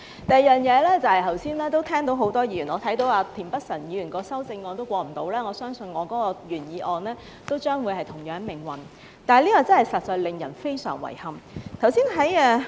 第二，剛才我看到田北辰議員的修正案都不能通過，我相信我的原議案都將會是同樣命運，這實在令人非常遺憾。